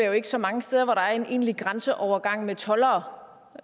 jo ikke så mange steder hvor der er en egentlig grænseovergang med toldere